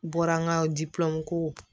Bɔra an ka ko